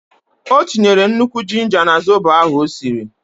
O tinyere nnukwu jinja na zobo ahụ o siri.